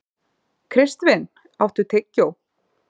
Kristvin, áttu tyggjó?